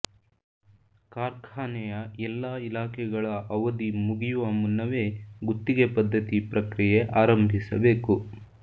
ಕಾರ್ಖಾನೆಯ ಎಲ್ಲಾ ಇಲಾಖೆಗಳ ಅವಧಿ ಮುಗಿಯುವ ಮುನ್ನವೇ ಗುತ್ತಿಗೆ ಪದ್ಧತಿ ಪ್ರಕ್ರಿಯೆ ಆರಂಭಿಸಬೇಕು